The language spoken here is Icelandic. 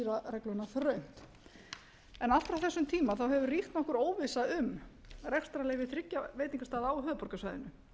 regluna þröngt allt frá þessum tíma hefur ríkt nokkur óvissa um rekstrarleyfi þriggja veitingastaða á höfuðborgarsvæðinu